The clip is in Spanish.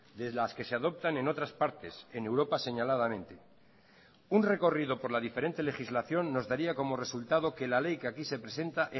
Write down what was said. de las que se adoptan en otras partes en europa señaladamente un recorrido por la diferente legislación nos daría como resultado que la ley que aquí se presenta